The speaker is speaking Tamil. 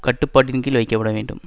கட்டுப்பாட்டின்கீழ் வைக்கப்பட வேண்டும்